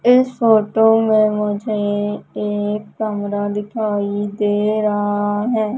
इस फोटो में मुझे एक कैमरा दिखाई दे रहा है।